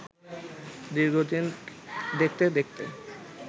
দীর্ঘদিন দেখতে দেখতে